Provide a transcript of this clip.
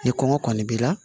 Ni kɔngɔ kɔni b'i la